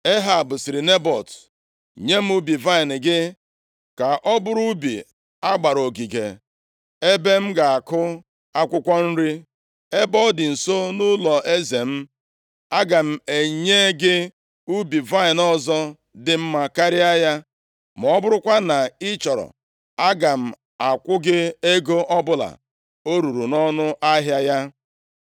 Ehab sịrị Nebọt, “Nye m ubi vaịnị gị ka ọ bụrụ ubi a gbara ogige, ebe m ga-akụ akwụkwọ nri, ebe ọ dị nso nʼụlọeze m. Aga m enye gị ubi vaịnị ọzọ dị mma karịa ya, ma ọ bụrụkwa na ị chọrọ, aga m akwụ gị ego ọbụla o ruru nʼọnụ ahịa ya.”